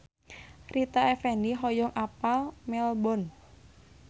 Rita Effendy hoyong apal Melbourne